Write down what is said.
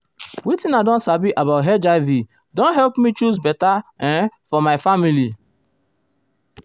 wetin i don sabi about hiv don help me choose better uhm for my family.